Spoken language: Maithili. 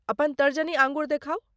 अपन तर्जनी अँगुरी देखाउ।